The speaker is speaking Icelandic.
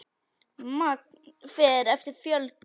Magn fer eftir fjölda.